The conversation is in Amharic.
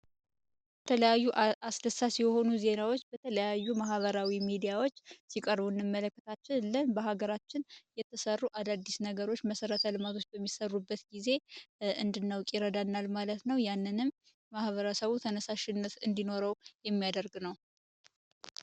የተለያዩ አስደሳች የሆኑ ዜናዎች በአማራ ሚድያ ሲቀርቡ እንመለከታለን እንደ ተሰሩ አዳዲስ ነገሮች መሰረተ ልማቶች እንድንመለከት ያደርጋል ማለት ነው ይህም ማህበረሰቡ ተነሳሽነት እንዲኖረው ያደርጋል።